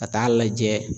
Ka taa lajɛ